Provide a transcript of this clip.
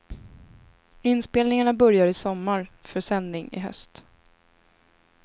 Inspelningarna börjar i sommar, för sändning i höst.